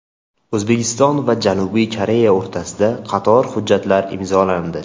O‘zbekiston va Janubiy Koreya o‘rtasida qator hujjatlar imzolandi.